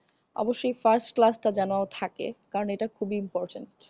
অবশ্যই first class টা যেনো থাকে। কারণ এটা খুবই important